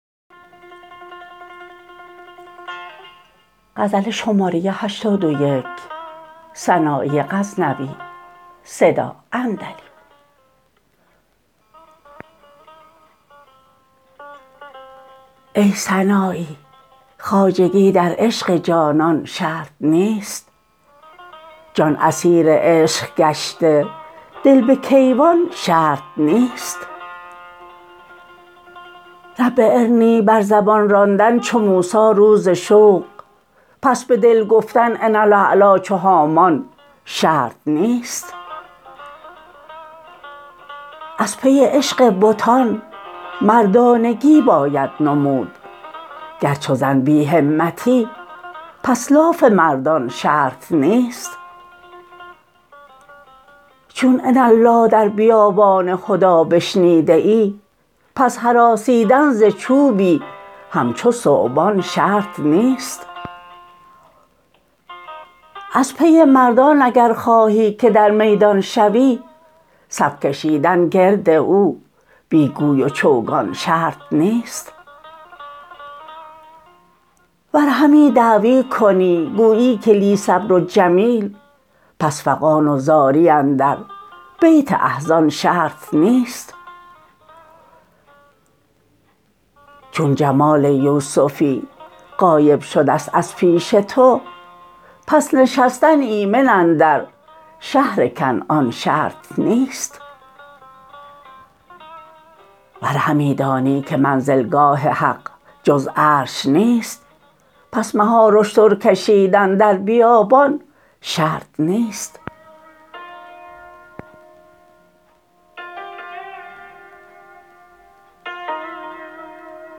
ای سنایی خواجگی در عشق جانان شرط نیست جان اسیر عشق گشته دل به کیوان شرط نیست رب ارنی بر زبان راندن چو موسی روز شوق پس به دل گفتن انا الاعلیٰ چو هامان شرط نیست از پی عشق بتان مردانگی باید نمود گر چو زن بی همتی پس لاف مردان شرط نیست چون اناالله در بیابان هدی بشنیده ای پس هراسیدن ز چوبی همچو ثعبان شرط نیست از پی مردان اگر خواهی که در میدان شوی صف کشیدن گرد او بی گوی و چوگان شرط نیست ور همی دعوی کنی گویی که لی صبر جمیل پس فغان و زاری اندر بیت احزان شرط نیست چون جمال یوسفی غایب شدست از پیش تو پس نشستن ایمن اندر شهر کنعان شرط نیست ور همی دانی که منزلگاه حق جز عرش نیست پس مهار اشتر کشیدن در بیابان شرط نیست